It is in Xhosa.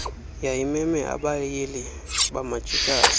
yayimeme abayili bamajikazi